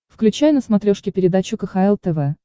включай на смотрешке передачу кхл тв